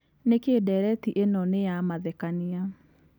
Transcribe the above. nĩkĩ ndereti ĩno nĩ ya mathekania